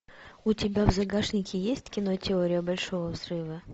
у тебя в загашнике есть кино теория большого взрыва